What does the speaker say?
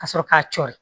Ka sɔrɔ k'a cɔɔri